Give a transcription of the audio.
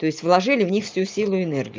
той-есть вложили в них всю силу и энергию